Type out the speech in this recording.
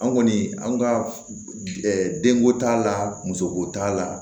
An kɔni an ka denko t'a la musoko t'a la